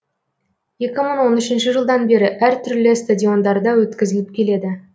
екі мың он үшінші жылдан бері әр түрлі стадиондарда өткізіліп келеді